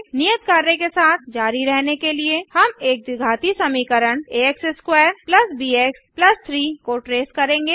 नियत कार्य के साथ जारी रहने के लिए हम एक द्विघाती समीकरण आ x2 बीएक्स 3 को ट्रेस करेंगे